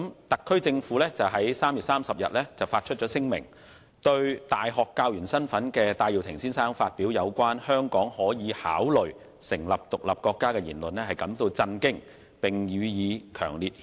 特區政府於3月30日發出聲明，對身為大學教員的戴耀廷先生發表有關"香港可以考慮成立獨立國家"的言論表示震驚，並予以強烈讉責。